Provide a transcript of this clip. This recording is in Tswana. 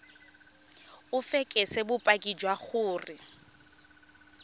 o fekese bopaki jwa gore